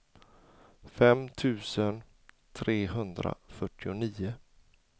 fem tusen trehundrafyrtionio